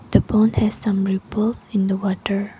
The pond has some ripples in the water.